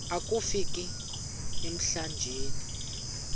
akofi ka emlanjeni